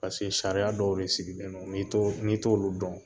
sariya dɔw de sigilen don n'i t'olu dɔn